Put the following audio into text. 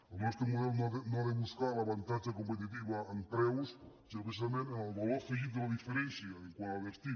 el nostre model no ha de buscar l’avantatge competitiu en preus sinó precisament en el valor afe·git de la diferència quant al destí